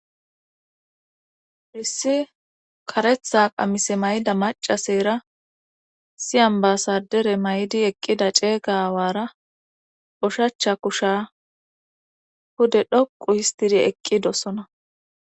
Irissi karetha qamise mayda macaseyra siyan baasadere may'di eqqida ceega awaara ushacha kusha hude dhoqu histidi eqqi dossona.